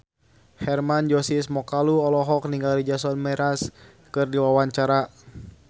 Hermann Josis Mokalu olohok ningali Jason Mraz keur diwawancara